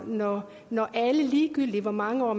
når når alle ligegyldig hvor mange år